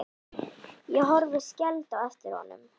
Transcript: Ég horfi skelfd á eftir honum.